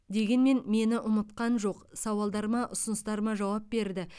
дегенмен мені ұмытқан жоқ сауалдарыма ұсыныстарыма жауап берді